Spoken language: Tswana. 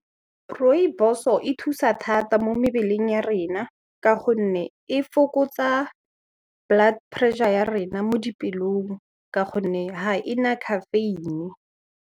Rooibos-o e thusa thata mo mebeleng ya rena ka gonne e fokotsa blood pressure ya rena mo dipelong ka gonne ha e na caffeine.